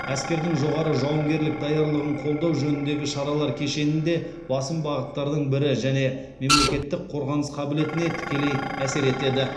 әскердің жоғары жауынгерлік даярлығын қолдау жөніндегі шаралар кешенінде басым бағыттардың бірі және мемлекеттің қорғаныс қабілетіне тікелей әсер етеді